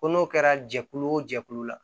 Ko n'o kɛra jɛkulu o jɛkulu la